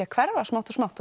að hverfa smátt og smátt og